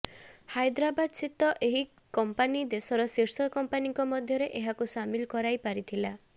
ହାଇଦ୍ରାବାଦ ସ୍ଥିତ ଏହି କମ୍ପାନୀ ଦେଶର ଶୀର୍ଷ କମ୍ପାନୀଙ୍କ ମଧ୍ୟରେ ଏହାକୁ ସାମିଲ କରାଇ ପାରିଥିଲା